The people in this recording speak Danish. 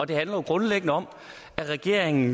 det handler jo grundlæggende om at regeringen